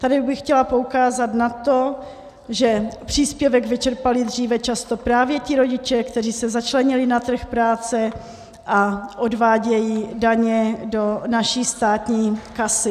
Tady bych chtěla poukázat na to, že příspěvek vyčerpali dříve často právě ti rodiče, kteří se začlenili na trh práce a odvádějí daně do naší státní kasy.